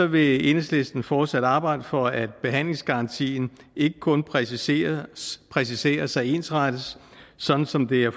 vil enhedslisten fortsat arbejde for at behandlingsgarantien ikke kun præciseres præciseres og ensrettes sådan som det er